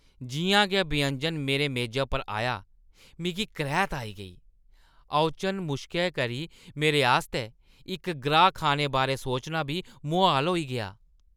जिʼयां गै व्यंजन मेरे मेजै पर आया, मिगी करैह्‌त आई गेई। ओचन मुश्कै करी मेरे आस्तै इक ग्राह् खाने बारै सोचना बी मुहाल होई गेआ ।